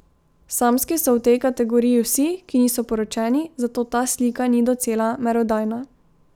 Samski so v tej kategoriji vsi, ki niso poročeni, zato ta slika ni docela merodajna.